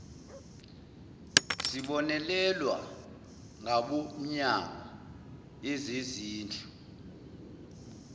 sibonelelwa ngabomnyango yezezindlu